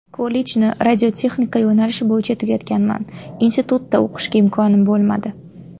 Kollejni radiotexnika yo‘nalishi bo‘yicha tugatganman, institutda o‘qishga imkonim bo‘lmadi.